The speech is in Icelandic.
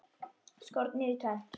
Skornir í tvennt.